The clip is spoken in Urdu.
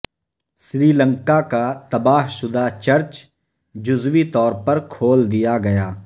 سری لنکا کا تباہ شدہ چرچ جزوی طور پر کھول دیا گیا